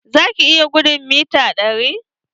Za ki iya gudun mita ɗari?